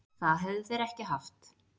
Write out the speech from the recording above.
Það hefðu þeir ekki haft